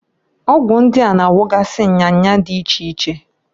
Ọgwụ ndia na- agwogasị nya nya di iche iche.